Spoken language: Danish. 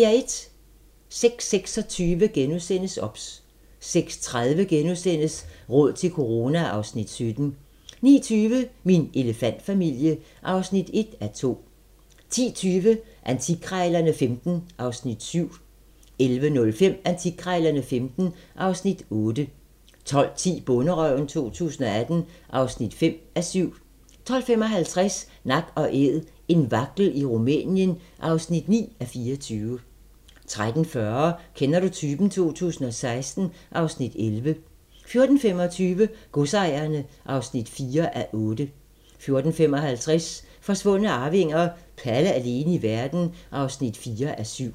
06:26: OBS * 06:30: Råd til corona (Afs. 17)* 09:20: Min elefantfamilie (1:2) 10:20: Antikkrejlerne XV (Afs. 7) 11:05: Antikkrejlerne XV (Afs. 8) 12:10: Bonderøven 2018 (5:7) 12:55: Nak & Æd - en vagtel i Rumænien (9:24) 13:40: Kender du typen? 2016 (Afs. 11) 14:25: Godsejerne (4:8) 14:55: Forsvundne arvinger: Palle alene i verden (4:7)